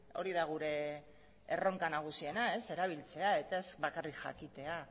hori da gure erronka nagusiena erabiltzea eta ez bakarrik jakitea